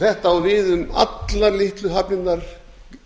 þetta á við um allar litlu hafnirnar